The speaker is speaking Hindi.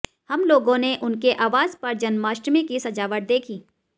हम लोगों ने उनके आवास पर जन्माष्टमी की सजावट देखी